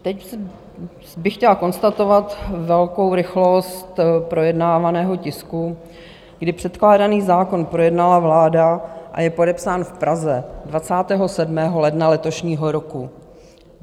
Teď bych chtěla konstatovat velkou rychlost projednávaného tisku, kdy předkládaný zákon projednala vláda a je podepsán v Praze 27. ledna letošního roku.